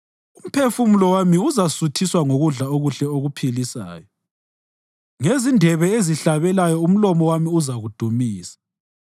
Umphefumulo wami uzasuthiswa ngokudla okuhle okuphilisayo; ngezindebe ezihlabelayo umlomo wami uzakudumisa.